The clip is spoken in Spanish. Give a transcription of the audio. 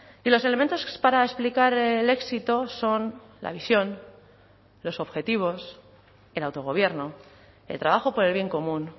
y los elementos para explicar el éxito son la visión los objetivos el autogobierno el trabajo por el bien común